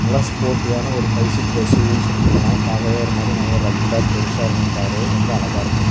நல்ல ஸ்போர்ட்டீவான ஒரு ஃபைவ் சீட்டர் எஸ்_யு_வினு சொல்லி சொல்லலாம் பாக்கவே ஒரு மாதிரி நல்லா ரக்டா பெருசா இருக்கும் காரு ரொம்ப அழகா இருக்கும்.